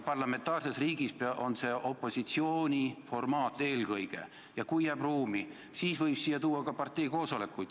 Parlamentaarses riigis on infotund eelkõige opositsiooni formaat ja kui jääb ruumi, siis lõpus võib siia tuua ka parteikoosolekuid.